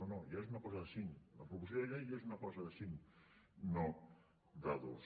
no no ja és una cosa de cinc la proposició de llei ja és una cosa de cinc no de dos